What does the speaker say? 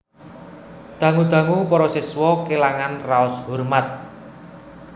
Dangu dangu para siswa kélangan raos hormat